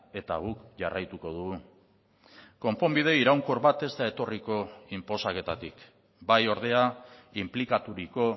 eta guk jarraituko dugu konponbide iraunkor bat ez da etorriko inposaketatik bai ordea inplikaturiko